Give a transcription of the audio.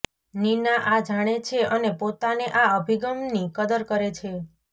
નિના આ જાણે છે અને પોતાને આ અભિગમની કદર કરે છે